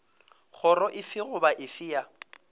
kgoro efe goba efe ya